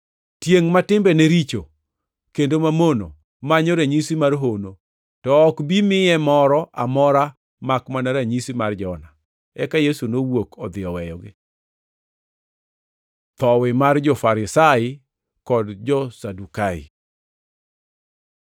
Tiengʼ ma timbene richo kendo mamono manyo ranyisi mar hono, to ok bi miye moro amora makmana ranyisi mar Jona.” Eka Yesu nowuok odhi oweyogi. Thowi mar jo-Farisai kod jo-Sadukai